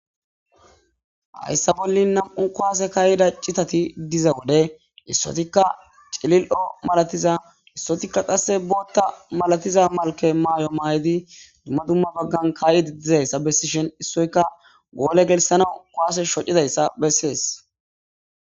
hayssa bollin nam7u kowaase kaayida citati diza wode issotikka celil7o malatiza issotikka qasse bootha malatiza malke maayo maayidi dumma dumma baggan kaa7idi dizayssa bessishin issoyka goole gelissanaw kuwaase shocidayssa besses.